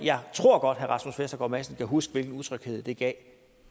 tror godt at herre rasmus vestergaard madsen kan huske hvilken utryghed det gav